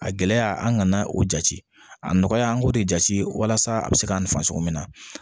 A gɛlɛya an kana o jate a nɔgɔya an k'o de jate walasa a bɛ se ka nin fan cogo min na